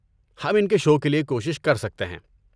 ہم ان کے شو کے لیے کوشش کر سکتے ہیں۔